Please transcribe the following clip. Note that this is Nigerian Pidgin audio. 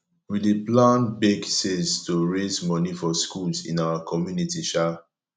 we dey plan bake sales to raise money for schools in our community um